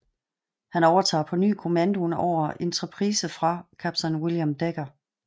Han overtager på ny kommandoen over Enterprise fra kaptajn William Decker